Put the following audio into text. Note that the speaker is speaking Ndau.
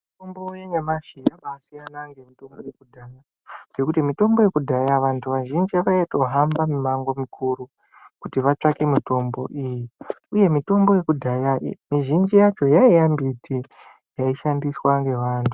Mitombo yanyamashi yabasiyana nemitombo yekudhaya ngekuti mitombo yekudhaya vantu vazhinji vaitohamba mimango mukuru kuti vatsvake mitombo iyi uye mitombo yekudhaya mizhinji yacho yaiva mbiti yaishandiswa nevantu .